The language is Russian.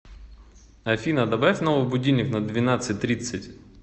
афина добавь новый будильник на двенадцать тридцать